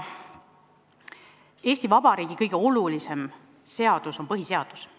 Eesti Vabariigi kõige olulisem seadus on põhiseadus.